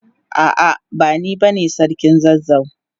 A'a, bani bane sarkin zazzau.